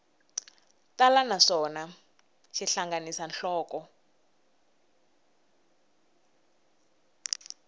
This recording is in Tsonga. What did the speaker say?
tala naswona xi hlanganisa nhloko